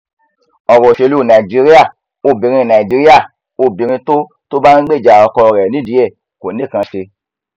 ọrọ òṣèlú najiíríà obìnrin najiíríà obìnrin tó bá ń gbèjà ọkọ rẹ nídìí ẹ kò nìkan í ṣe